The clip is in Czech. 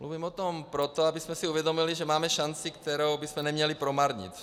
Mluvím o tom proto, abychom si uvědomili, že máme šanci, kterou bychom neměli promarnit.